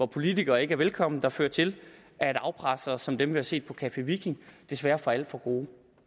politikere ikke er velkomne der fører til at afpressere som dem der er set på café viking desværre får alt for gode